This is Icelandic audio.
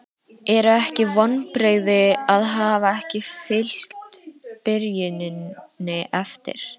Eru ekki vonbrigði að hafa ekki fylgt byrjuninni eftir?